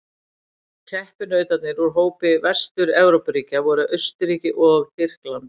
Keppinautarnir úr hópi Vestur-Evrópuríkja voru Austurríki og Tyrkland.